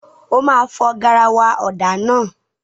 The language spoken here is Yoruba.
O máa fọ garawa ọ̀dà náà.